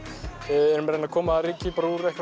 erum að reyna að koma að ryki